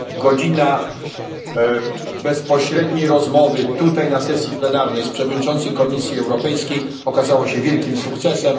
miesięcy. Godzina bezpośredniej rozmowy, tutaj na sesji plenarnej, z przewodniczącym Komisji Europejskiej okazała się wielkim